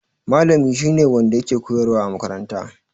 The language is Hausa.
Malami shi ne wanda yake koyarwa a makaranta.